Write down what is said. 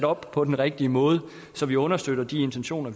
op på den rigtige måde så vi understøtter de intentioner